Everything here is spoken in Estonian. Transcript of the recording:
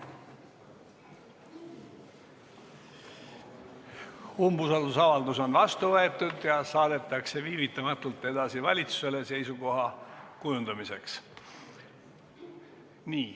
Umbusaldusavaldus on vastu võetud ja saadetakse viivitamatult edasi valitsusele seisukoha kujundamiseks.